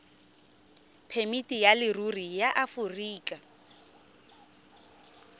phemiti ya leruri ya aforika